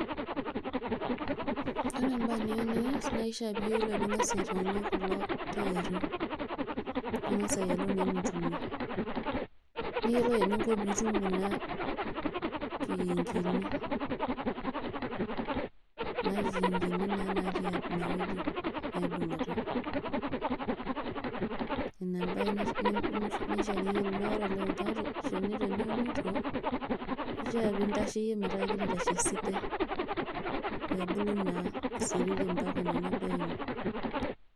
ore ebae niyieu nias, naa ing'as ayiolou enintayunye kulo tairi, ningas ayiolu naa enitumie. niyiolou eninko tenitum kuna kikinkini, naa natii ene wueji naibung'itae, ina ebae nishaa niyiolou, naa ore tenitoni iunito. kifaa nintasheyie metaa kegira aitashe esidai isiriri, mpaka naa nebaya ene.